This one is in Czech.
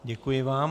Děkuji vám.